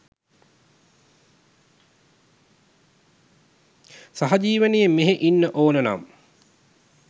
සහජිවනෙන් මෙහෙ ඉන්න ඕනනම්